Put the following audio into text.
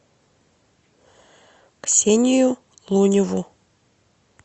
ксению луневу